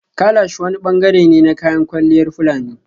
Kalash wani bangare ne na kayan kwalliyar fulani